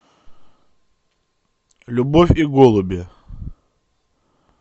любовь и голуби